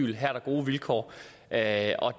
at